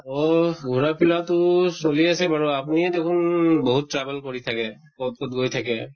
অহ ঘুৰা ফিৰাতো চলি আছে বাৰু আপুনিয়ে দেখোন বহুত travel কৰি থাকে, কʼত কʼত গৈ থাকে।